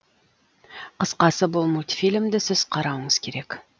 қысқасы бұл мультфильмді сіз қарауыңыз керек